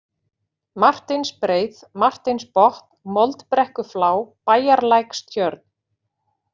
Marteinsbreið, Marteinsbotn, Moldbrekkuflá, Bæjarlækstjörn